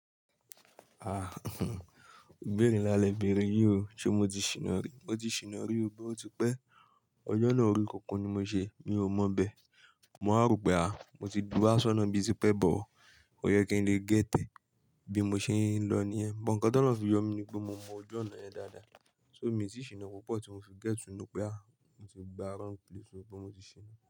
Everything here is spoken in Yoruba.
Ah ìbéèrè ńlá lè béèrè yìí o, ṣé mo ti ṣìná rí? Mo ti ṣìná rí o, bí ó ti pẹ́. Ọjọ́ náà orí kunkun ni mo ṣe, mi ò mọ bẹ. Mo wa rope ah mo ti wá sọ́nà ibi tipẹ́ but. Ó yẹ kí n lè get e. Bí mo ṣe ń lọ nìyẹn. Ọ̀ǹkà tọ́lohun fi yọ mí ní pé mo mọ ojú ọ̀nà yẹn dáadáa. So mi ti ṣìná púpọ̀ tí mo fi get to know pé à, mo ti gba wrong place pé mo ti ṣìná.